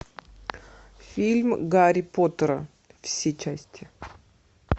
фильм гарри поттера все части